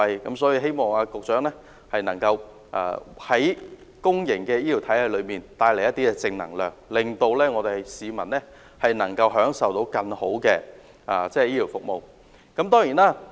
因此，希望局長能夠為公營醫療體系帶來更多正能量，從而讓市民享受到更好的醫療服務。